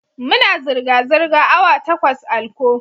Muna zirga-zirga awa takwas a'lkko.